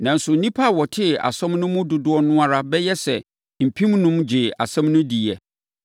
Nanso nnipa a wɔtee asɛm no mu dodoɔ no ara bɛyɛ sɛ mpemnum gyee asɛm no diiɛ.